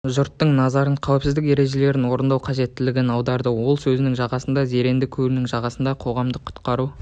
жұрттың назарын қауіпсіздік ережелерін орындау қажеттілігін аударды ол сөзінің жалғасында зеренді көлінің жағасында қоғамдық құтқару